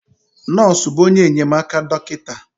Nọọsụ bụ onye enyemaka dọkịta.